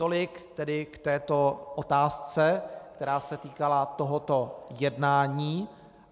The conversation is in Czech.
Tolik tedy k této otázce, která se týkala tohoto jednání.